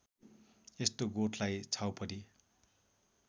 यस्तो गोठलाई छाउपडी